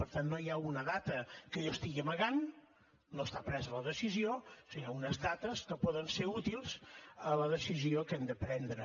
per tant no hi ha una data que jo estigui amagant no està presa la decisió sinó unes dates que poden ser útils a la decisió que hem de prendre